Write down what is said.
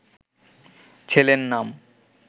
ছেলের নাম